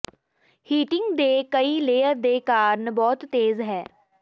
heating ਦੇ ਕਈ layer ਦੇ ਕਾਰਨ ਬਹੁਤ ਤੇਜ਼ ਹੈ